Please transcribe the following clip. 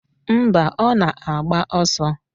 Mba, ọ na-agba ọsọ